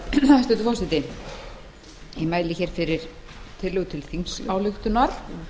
hæstvirtur forseti ég mæli fyrir tillögu til þingsályktunar